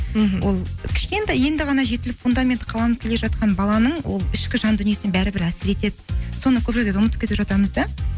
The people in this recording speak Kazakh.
мхм ол кішкентай енді ғана жетіліп фундаменті қаланып келе жатқан баланың ол ішкі жан дүниесіне бәрібір әскер етеді соны көп жерлерде ұмытып кетіп жатамыз да